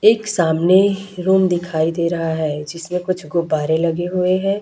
एक सामने रूम दिखाई दे रहा है जिसमें कुछ गुब्बारे लगे हुए हैं।